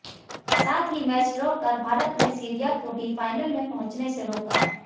साथ ही match draw कर भारत ने सीरिया को भी फाइनल में पहुंचने से रोका